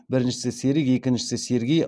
біріншісі серік екіншісі сергей